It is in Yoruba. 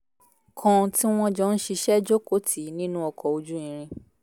kan tí wọ́n jọ ń ṣiṣẹ́ jókòó tì í nínú ọkọ̀ ojú irin